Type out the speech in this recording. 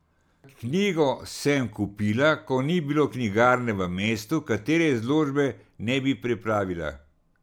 Knjigo sem kupila, ko ni bilo knjigarne v mestu, katere izložbe ne bi preplavila.